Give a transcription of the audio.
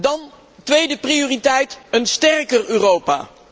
Dan, tweede prioriteit, een sterker Europa.